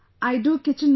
I do kitchen work